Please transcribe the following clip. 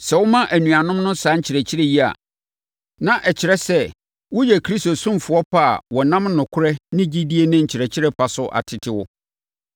Sɛ woma anuanom no saa nkyerɛkyerɛ yi a, na ɛkyerɛ sɛ woyɛ Kristo ɔsomfoɔ pa a wɔnam nokorɛ ne gyidie ne nkyerɛkyerɛ pa so atete wo.